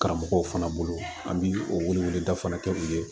Karamɔgɔw fana bolo an bi o weleweleda fana kɛ u ye